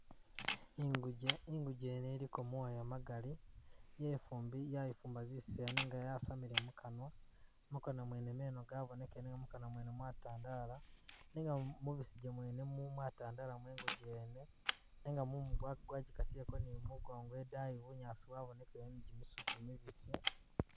Inguje, inguje yene iliko moya magali, yefumbi-yayifumba zisaya nenga yasamile mukanwa, mukanwa mwene meno gabonekele mukanwa mwene mwatandala, nenga mubisige mwene mwatandala mwenguje yene, nenga mumu gwagikasileko ni mumugongo idayi bunyaasi bwabonekele ni jimisitu mibisi.